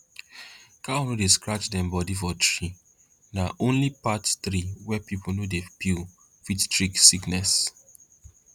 cow no dey scratch dem body for tree na only path tree wey people no dey peel fit treat sickness